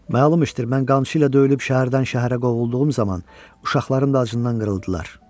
Məlum işdir, mən qamçı ilə döyülüb şəhərdən şəhərə qovulduğum zaman uşaqlarım da acından qırıldılar.